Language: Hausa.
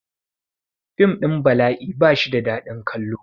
Fim ɗin bala'i ba shi da dadin kallon